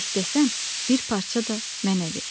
İstəsən, bir parça da mənə ver.